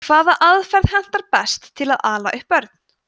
hvaða aðferðir henta best til að ala upp börn